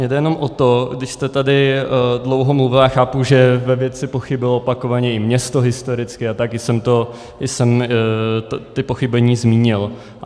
Mně jde jenom o to, když jste tady dlouho mluvil, já chápu, že ve věci pochybilo opakovaně i město historicky, a taky jsem ta pochybení zmínil.